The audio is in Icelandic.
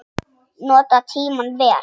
Nota tímann vel, sagði hann.